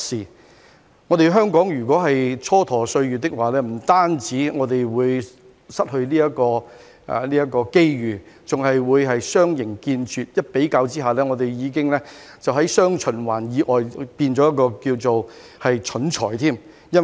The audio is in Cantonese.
如果香港蹉跎歲月，不但會失去這個機遇，還會相形見拙，相比之下已經在"雙循環"以外變成一個"蠢才"。